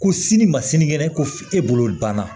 Ko sini ma sini kɛnɛ ko e bolo banna